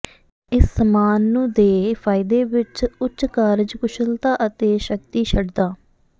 ਇਸ ਸਾਮਾਨ ਨੂੰ ਦੇ ਫਾਇਦੇ ਵਿਚ ਉੱਚ ਕਾਰਜਕੁਸ਼ਲਤਾ ਅਤੇ ਸ਼ਕਤੀ ਛਡਦਾ